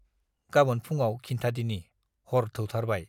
गाबोन फुङाव खिन्थादिनि, हर थौथारबाय।